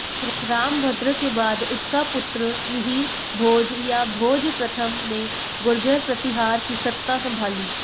रामभद्र के बाद उसका पुत्र मिहिरभोज या भोज प्रथम ने गुर्जर प्रतिहार की सत्ता संभाली